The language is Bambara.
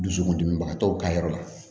Dusukundimibagatɔw ka yɔrɔ la